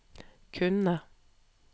kunne